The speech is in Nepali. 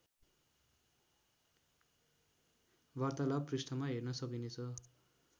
वार्तालाप पृष्ठमा हेर्न सकिनेछ